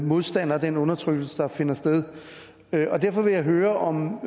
modstander af den undertrykkelse der finder sted derfor vil jeg høre om